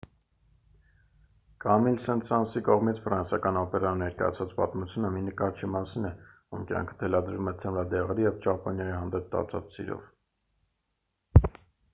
կամիլ սենտ-սանսի կողմից ֆրանսիական օպերայում ներկայացված պատմությունը մի նկարչի մասին է ում կյանքը թելադրվում է թմրադեղերի և ճապոնիայի հանդեպ տածած սիրով